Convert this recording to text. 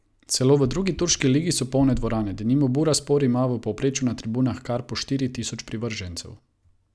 Celo v drugi turški ligi so polne dvorane, denimo Bursaspor ima v povprečju na tribunah kar po štiri tisoč privržencev.